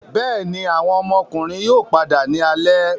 Bẹẹni, awọn ọmọkunrin yoo pada ni alẹ